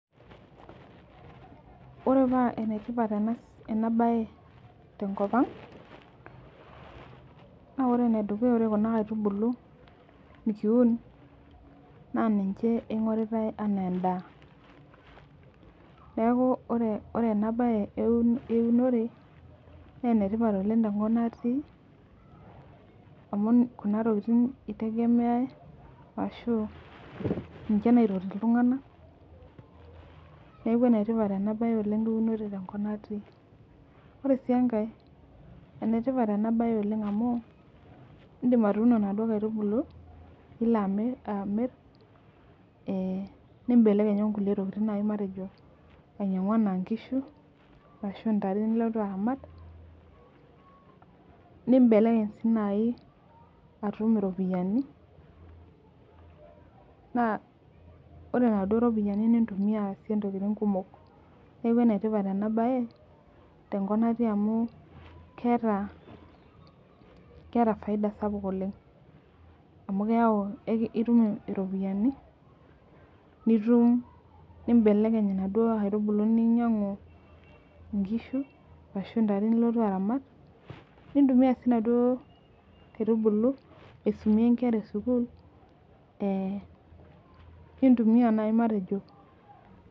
Ore paa enetipat enabae tenkop ang, na ore enedukuya ore kuna kaitubulu nikiun, naa ninche ing'oritai enaa endaa. Neeku ore enabae eunore, nenetipat oleng tenkop natii, amu kuna tokiting itegemeai ashu ninche naitoti iltung'anak, neeku enetipat enabae eunore oleng tenkop natii. Ore si enkae, enetipat enabae oleng amu, idim atuuno naduo kaitubulu, nilo amir nibelekeny onkulie tokiting matejo ainyang'u enaa nkishu, ashu ntare nilotu aramat, nibelekeny si nai atum iropiyiani, naa ore naduo ropiyiani nintumia aasie intokiting kumok. Neeku enetipat enabae, tenkop natii amu keeta faida sapuk oleng. Amu keyau itum iropiyiani, nitum nibelekeny inaduo aitubulu ninyang'u inkishu, ashu ntare nilotu aramat, nintumia si naduo kaitubulu aisumie nkera esukuul, nintumia nai matejo